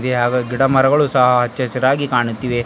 ಯಾವ ಗಿಡ ಮರಗಳು ಸಹ ಹಚ್ಚ ಹಸಿರಾಗಿ ಕಾಣುತ್ತಿವೆ.